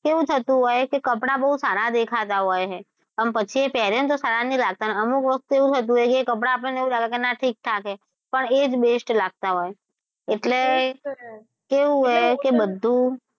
કેવું થતું હોય કે કપડાં બહુ સારા દેખાતાં હોય છે અને પછી એ પેરીએ તો સારા નહી લાગતાં અમુક વખત કેવું હતું કે એ કપડા આપણને લાગે કે ઠીક ઠાક છે પણ એ જ best લાગતાં હોય એટલે કેવું હોય કે બધુ,